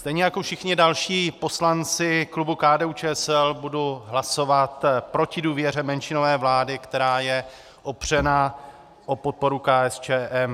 Stejně jako všichni další poslanci klubu KDU-ČSL budu hlasovat proti důvěře menšinové vlády, která je opřena o podporu KSČM.